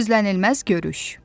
Gözlənilməz görüş.